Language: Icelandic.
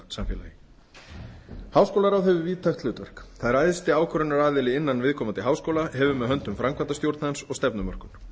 vísindasamfélagi háskólaráð hefur víðtækt hlutverk það er æðsti ákvörðunaraðli innan viðkomandi háskóla hefur með höndum framkvæmdastjórn hans og stefnumörkun